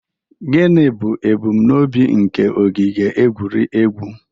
Gịnị bụ ebumnobi nke ogige egwuregwu?